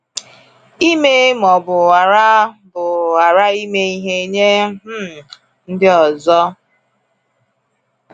Ime ma ọ bụ ghara bụ ghara ime ihe nye um ndị ọzọ?